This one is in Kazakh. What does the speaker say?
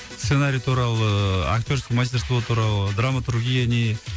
сценарий туралы ыыы актерское мастерство туралы драматургия не